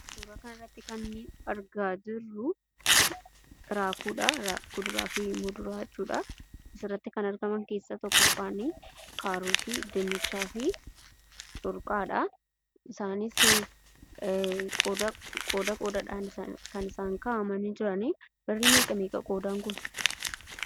Suuraa kanarratti kan argaa jirru raafuudha asirratti kan argaman keessa kaarooti dinnicha fi corqaadha. Isaanis qooda qoodadhan kan isaan kaa'aamani jiran.